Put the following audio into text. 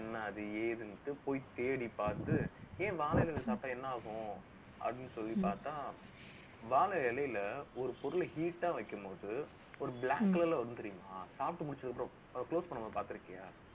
இது என்ன அது, ஏதுன்னுட்டு, போய் தேடிப் பார்த்து, ஏன் வாழை இலையில சாப்பிட்டா என்ன ஆகும் அப்படின்னு சொல்லி பார்த்தா, வாழை இலையில ஒரு பொருள heat ஆ வைக்கும்போது ஒரு black colour ல வந்து தெரியுமா சாப்பிட்டு முடிச்சதுக்கு அப்புறம், அதை close பண்ணாம பார்த்து இருக்கியா